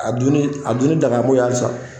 A dunni a dunnl dangan b'o ya halisa.